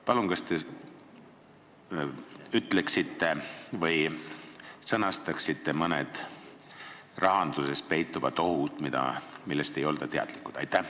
Palun, kas te räägiksite mõnedest rahanduses peituvatest ohtudest, millest ei olda teadlikud?